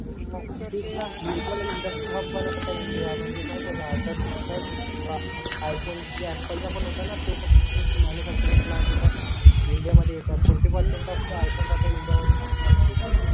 Hub बनवता आहे India म्हणजे माहिती आहे का? आय फोन ही ॲपल चा पण होताना तो पण प्लांट इथं इंडिया मध्ये येत आहे फॉरती पर्सेंट ऑफ लाइफ आता इंडिया मध्ये भारतातील.